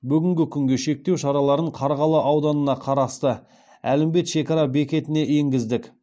бүгінгі күнге шектеу шараларын қарғалы ауданына қарасты әлімбет шекара бекетіне енгіздік